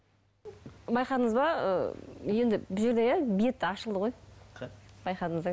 байқадыңыз ба ы енді бұл жерде иә бет ашылды ғой